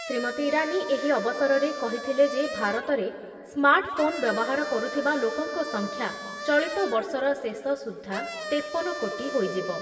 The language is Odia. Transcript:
ଶ୍ରୀମତି ଇରାନୀ ଏହି ଅବସରରେ କହିଥିଲେ ଯେ ଭାରତରେ ସ୍ମାର୍ଟ ଫୋନ୍ ବ୍ୟବହାର କରୁଥିବା ଲୋକଙ୍କ ସଂଖ୍ୟା ଚଳିତ ବର୍ଷର ଶେଷସୁଦ୍ଧା ତେପନ କୋଟି ହୋଇଯିବ।